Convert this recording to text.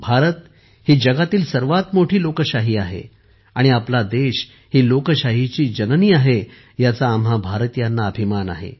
भारत ही जगातील सर्वात मोठी लोकशाही आहे आणि आपला देश ही लोकशाहीची जननी आहे याचा आम्हा भारतीयांना अभिमान आहे